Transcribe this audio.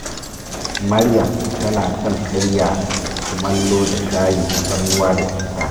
Maryam tana son karya kumallo da shayin tafarnuwa da citta